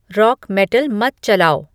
rock metal मत चलाओ